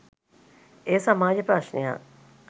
එය සමාජ ප්‍රශ්නයක්